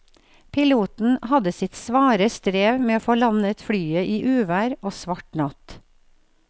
Piloten hadde sitt svare strev med å få landet flyet i uvær og svart natt.